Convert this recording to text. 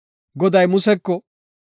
Goday Museko,